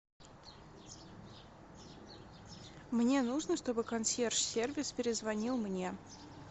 мне нужно чтобы консьерж сервис перезвонил мне